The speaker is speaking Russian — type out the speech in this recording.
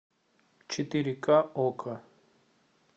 четыре ка окко